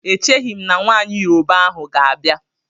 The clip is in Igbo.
E cheghim na nwaanyị Yoroba ahụ ga-abịa.